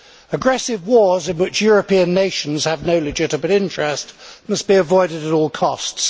Aggressive wars in which European nations have no legitimate interest must be avoided at all costs.